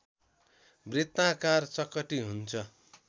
वृत्ताकार चकटि हुन्छ